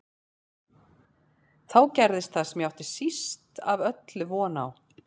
Þá gerðist það sem ég átti síst af öllu von á.